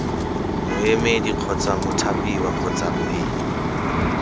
moemedi kgotsa mothapiwa kgotsa b